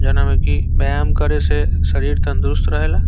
जना मे की व्यायाम करे से शरीर तंदुरुस्त रहेला ।